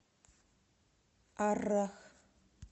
аррах